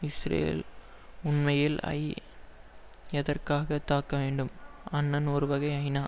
Israel உண்மையில் ஐ எதற்காக தாக்க வேண்டும் அன்னன் ஒருவகை ஐநா